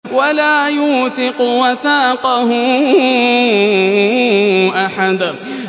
وَلَا يُوثِقُ وَثَاقَهُ أَحَدٌ